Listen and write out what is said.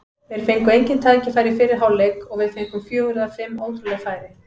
Þeir fengu engin tækifæri í fyrri hálfleik og við fengum fjögur eða fimm ótrúleg færi.